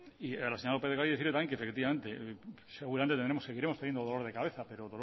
y a la señora lópez de ocariz decirle que seguramente le seguiremos poniendo dolor de cabeza pero